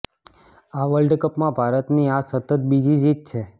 આ વર્લ્ડ કપમાં ભારતની આ સતત બીજી જીત છે